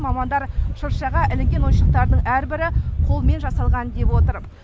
мамандар шыршаға ілінген ойыншықтардың әрбірі қолмен жасалған деп отыр